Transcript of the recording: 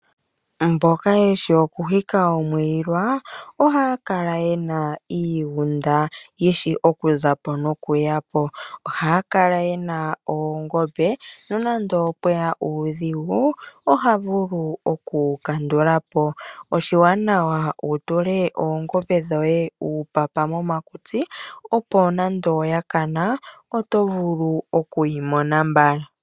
Mboka yeshi okuhika omwiila ohaya kala yena iigunda yishi okuzapo nokuyapo. Ohaya kala yena oongombe nande opweya uudhigu ota vulu oku wukandulapo. Oshiwanawa wu tule oongombe dhoye uupapa momakutsi, opo nande oya kana oto vulu okuyi mpna mbala.